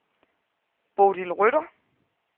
Bodil Rytter